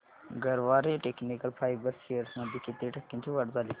Garware technical fibres shares मध्ये किती टक्क्यांची वाढ झाली